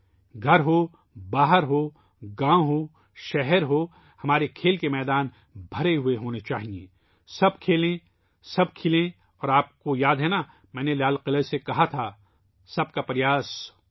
گھر ہو ، باہر ہو ، گاؤں ہو ، شہر ہو ، ہمارے کھیل کے میدان بھرے ہونے چاہئیں ، ہر ایک کو کھیلنا چاہیے سب کھیلیں سب کھیلیں اور آپ کو یاد ہے ناں ، کہ میں نے لال قلعہ سے کہا تھا '' سب کا پریاس ''